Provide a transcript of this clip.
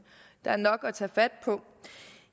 der er nok at tage fat på